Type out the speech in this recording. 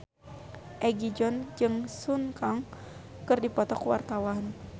Egi John jeung Sun Kang keur dipoto ku wartawan